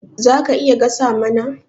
Zaka iya gasa nama?